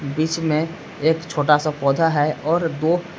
बीच में एक छोटा सा पौधा है और दो--